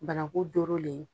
Banaku dɔyɔrɔlen